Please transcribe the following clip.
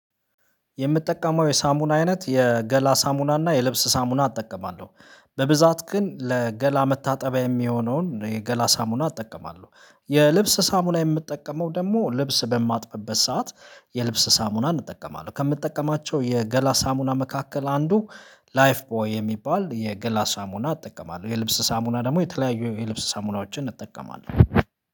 የምጠቀመው የሳሙና አይነት የገላ ሳሙና እና የልብስ ሳሙና እጠቀማለሁ በብዛት ግን ለገላ መታጠቢያ የሚሆነውን የገላ ሳሙና እጠቀማለሁ። የልብስ ሳሙና የምጠቀመው ደግሞ ልብስ በማጥብበት ሰዓት የልብስ ሳሙና እንጠቀማለን ከምጠቀማቸው የገላ ሳሙና መካከል አንዱ ላይፍ ቦይ የሚባል የገላ ሳሙና እጠቀማለሁ። የልብስ ሳሙና ደግሞ የተለያዩ የልብስ ሳሙናዎችን እጠቀማለሁ።